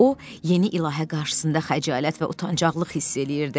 O yeni ilahə qarşısında xəcalət və utancaqlıq hiss eləyirdi.